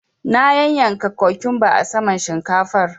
Na yanyanka kokumba a saman shinkafar.